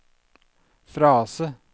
frase